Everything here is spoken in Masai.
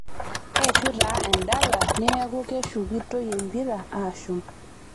Eishuu taa endala neeku keshukitoi empira aashum.